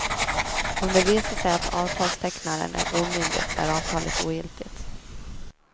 Om det visar sig att avtalstecknaren är omyndig är avtalet ogiltigt.